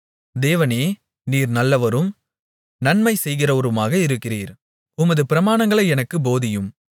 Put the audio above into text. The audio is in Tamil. தேவனே நீர் நல்லவரும் நன்மை செய்கிறவருமாக இருக்கிறீர் உமது பிரமாணங்களை எனக்குப் போதியும்